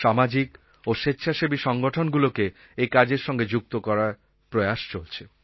সামাজিক ও স্বেচ্ছাসেবী সংগঠনগুলোকে একাজের সঙ্গে যুক্ত করার প্রয়াস চলছে